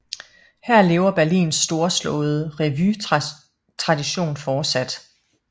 Her lever Berlins storslåede revuetradition fortsat